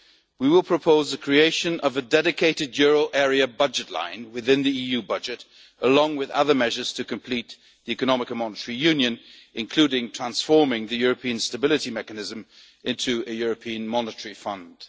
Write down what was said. union. We will propose the creation of a dedicated euro area budget line within the EU budget, along with other measures to complete the economic and monetary union, including transforming the European Stability Mechanism into a European Monetary